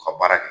U ka baara kɛ